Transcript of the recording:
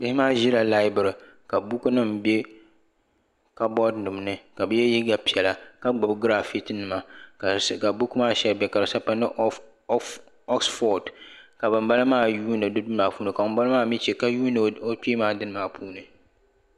Bihi maa ʒila laabiri buku nima be kaboori nima ni ka bi ye liiga piɛla ka gbibi girafiki nima ka buku maa sabi pa ni oksfod ka banbala maa yuuni bɛ dini maa puuni ka bambala maa mee che ka yuuni o kpee maa dini maa puuni.